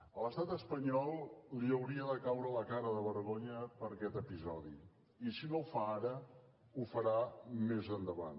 a l’estat espanyol li hauria de caure la cara de vergonya per aquest episodi i si no ho fa ara ho farà més endavant